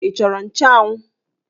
Ị chọrọ nchanwụ?